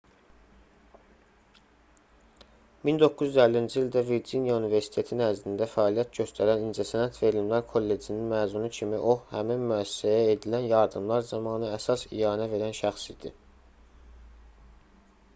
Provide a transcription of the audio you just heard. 1950-ci ildə virciniya universiteti nəzdində fəaliyyət göstərən i̇ncəsənət və elmlər kollecininin məzunu kimi o həmin müəssisəyə edilən yardımlar zamanı əsas ianə verən şəxs idi